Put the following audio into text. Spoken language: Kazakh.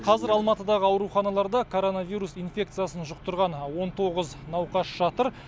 қазір алматыдағы ауруханаларда коронавирус инфекциясын жұқтырған он тоғыз науқас жатыр